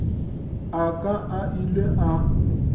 a ka a ile a